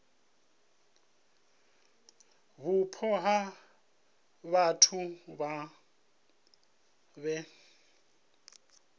vhupo ha vhathu vhe vha